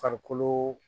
Farikolo